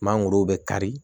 Mangoro bɛ kari